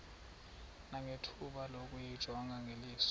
nangethuba lokuyijonga ngeliso